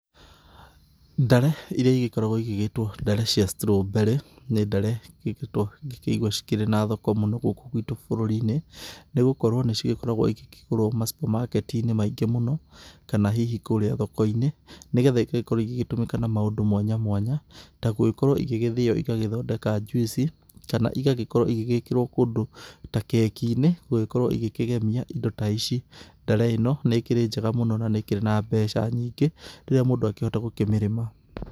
Ndare irĩa igĩkoragwo ĩgĩgĩtwo ndare cia strawberry nĩ ndare ikoretwo ngĩkĩigua cikĩrĩ na thoko mũno gũkũ guitũ bũrũri-inĩ. Nĩ gũkorwo nĩ cikoragwo ikĩgũrwo ma supermarket i-inĩ maingĩ mũno kana hihi kũrĩa thoko-inĩ. Nĩgetha igagĩkorwo igĩtũmĩka na maũndũ mwanya mwanya ta gũkorwo igĩgĩthĩo igagĩthondeka njuici kana igagĩkorwo igĩgĩkĩrwo kũndũ ta keki-inĩ gũgĩkorwo igĩkĩgemia indo ta ici. Ndare ĩno nĩ ĩkĩrĩ njega mũno na nĩ ĩkĩrĩ na mbeca nyingĩ rĩrĩa mũndũ akĩhota gũkĩmĩrĩma.